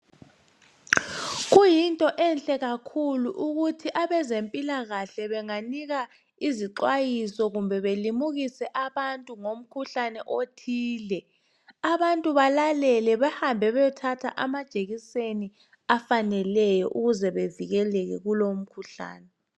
Kuyinto enhle kakhulu ukuthi abezempilakahle benganika izixwayiso kumbe belimukise abantu ngomkhuhlane othile abantu balalele behambe beyothatha amajekiseni afaneleyo ukuze bevikeleke kulowo mkhuhlane